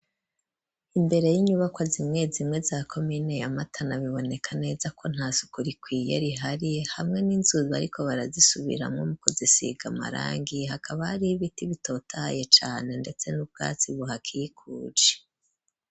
Imbere y'inyubakwa zimwe zimwe za komine ya matana, biboneka neza ko ntasuku rikwiye rihari hamwe n'inzu bariko bazisubiramwo, basiga amarangi, hakaba hari n'ibiti bitotahaye cane, ndetse n'ubwatsi buhakikuje.